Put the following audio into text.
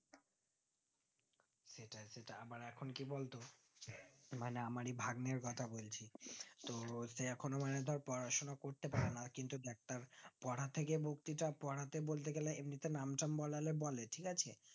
ইটা আমার এখন কি বলতো মানে আমরি ভাগ্নের কথা বলছি তো ওকে এখনো মানে ধরে পড়াশোনা করতে পারে না কিন্তু একটা পরথেকে মুক্তিটা পড়াতে বলতেগেলে এমিটে নাম টাম বললে বলে ঠিক আছে